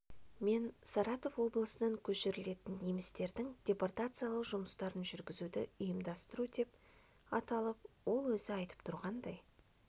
мен саратов облысынан көшірілетін немістердің депортациялау жұмыстарын жүргізуді ұйымдастыру деп аталып ол өзі айтып тұрғандай